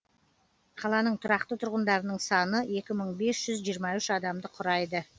қаланың тұрақты тұрғындарының саны екі мың бес жүз жиырма үш адамды құрайды